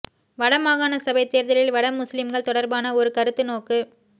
வட மாகாண சபைத் தேர்தலில் வட முஸ்லிம்கள் தொடர்பான ஒரு கருத்து நோக்கு